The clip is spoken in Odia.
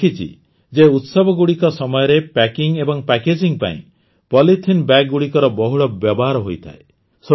ମୁଁ ଦେଖିଛି ଯେ ଉତ୍ସବଗୁଡ଼ିକ ସମୟରେ ପ୍ୟାକିଂ ଏବଂ ପ୍ୟାକେଜିଂ ପାଇଁ ପଲିଥିନ୍ ବ୍ୟାଗଗୁଡ଼ିକର ବହୁଳ ବ୍ୟବହାର ହୋଇଥାଏ